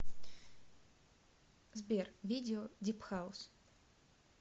сбер видео дип хаус